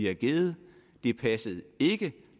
har givet det passede ikke